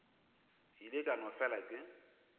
ile ka no fela ke